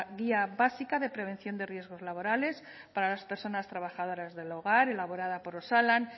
guía básica de prevención de riesgos laborales para las personas trabajadoras del hogar elaborada por osalan